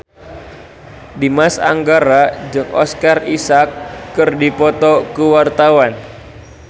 Dimas Anggara jeung Oscar Isaac keur dipoto ku wartawan